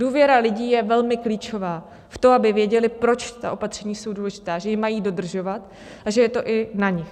Důvěra lidí je velmi klíčová, v to, aby věděli, proč ta opatření jsou důležitá, že je mají dodržovat a že je to i na nich.